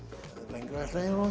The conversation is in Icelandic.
lengra ætla ég